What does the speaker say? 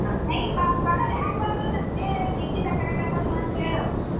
I ಬ~ ಬರ್ತಾರ ಯಾಕ್ ಬರಲ್ಲ ನನ್ ಹೇಳ್ ಹೇಳ್ ದೀಕ್ಷಿತ ಕರ್ಯಾಕತಾಳಮ್ಮಾ ಅಂತ ಹೇಳು.